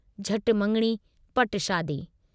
झट मङिणी पट शादी।